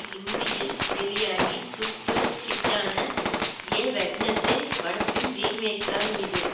இந்தியில் வெளியாகி சூப்பர் ஹிட்டான எ வெட்னஸ்டே படத்தின் ரீமேக்தான் இது